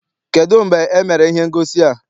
Kedụ mgbe emere ihe ngosi a?